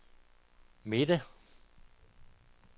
midte